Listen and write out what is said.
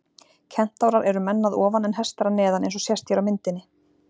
Kentárar eru menn að ofan en hestar að neðan eins og sést hér á myndinni.